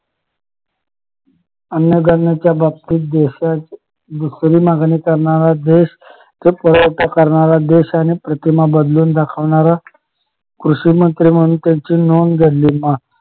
अन्नधान्याच्या बाबतीत देशाची दुसरी मागणी करणारा देश पुरवठा करणारा देश आणि प्रतिमा बदलून दाखवणारा कृषिमंत्री म्हणून त्यांची नोंद दडली